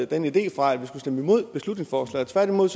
den idé fra at vi skulle stemme imod beslutningsforslaget tværtimod